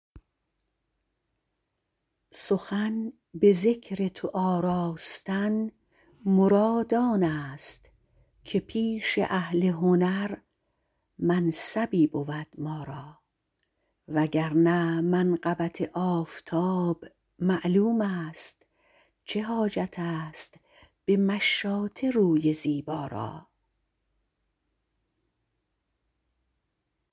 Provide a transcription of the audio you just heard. سخن به ذکر تو آراستن مراد آنست که پیش اهل هنر منصبی بود ما را وگرنه منقبت آفتاب معلومست چه حاجتست به مشاطه روی زیبا را